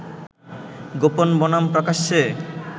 গোপন বনাম প্রকাশ্যে